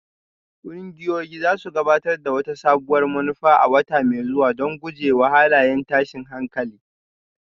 Ƙungiyoyin za su gabatar da wata sabuwar manufa a wata mai zuwa don guje wa halayen tashin hankali